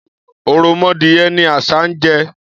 Ọ̀rọ̀mọdìyẹ ni àṣah ń jẹ.